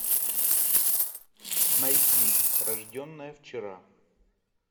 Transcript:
найти рожденная вчера